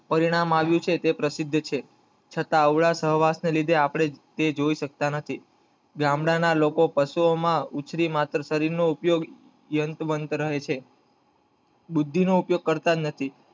પરિણામ આવ્યુ છે તે પ્રસિદ્ધ છે છતાં અવળા સહવાસ ને લીધે આપડે જે જોઈ સકતા આથી ગામડા ના લોકો પશુઓ માં ઉછરી ને માત્ર શરીર નો ઉપયોગ અંતબંટ રહે છે બુદ્ધિ નો ઉપયોગ કરતા જ નથી